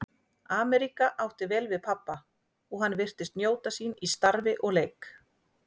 Ameríka átti vel við pabba og hann virtist njóta sín í starfi og leik.